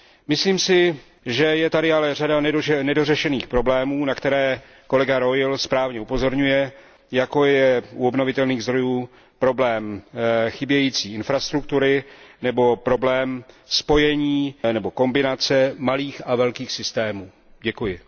Myslím si, že je tady ale řada nedořešených problémů, na které kolega Reul správně upozorňuje, jako je u obnovitelných zdrojů problém chybějící infrastruktury, nebo problém spojení nebo kombinace malých a velkých systémů. Děkuji.